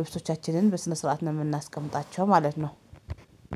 ልብሶቻችንን በስነ ስርዓት ነው የምናስቀምጣቸው ማለት ነው።